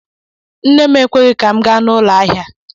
Nne m ekweghị ka m gaa na ụlọ ahịa.